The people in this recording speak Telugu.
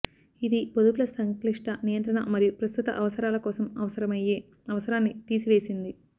ఇది పొదుపుల సంక్లిష్ట నియంత్రణ మరియు ప్రస్తుత అవసరాల కోసం అవసరమయ్యే అవసరాన్ని తీసివేసింది